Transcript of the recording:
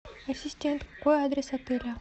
ассистент какой адрес отеля